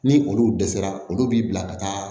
Ni olu dɛsɛra olu b'i bila ka taa